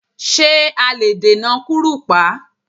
Ṣé a lè dènà kúrùpá?